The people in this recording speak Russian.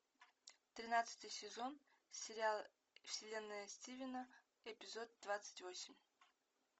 тринадцатый сезон сериал вселенная стивена эпизод двадцать восемь